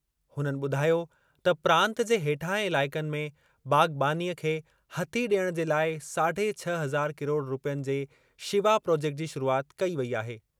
हुननि ॿुधायो त प्रांत जे हेठाहें इलाइक़नि में बाग़बानीअ खे हथी ॾियणु जे लाइ साढे छह हज़ार किरोड़ रूपयनि जे शिवा प्रॉजेक्टु जी शुरूआति कई वेई आहे।